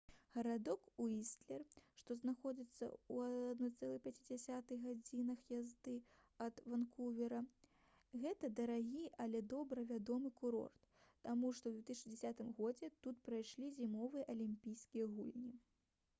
гарадок уістлер што знаходзіцца ў 1,5 гадзінах язды ад ванкувера — гэта дарагі але добра вядомы курорт таму што ў 2010 годзе тут прайшлі зімовыя алімпійскія гульні